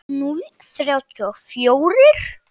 Núll þrjátíu og fjórir?